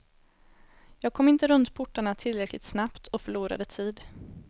Jag kom inte runt portarna tillräckligt snabbt och förlorade tid.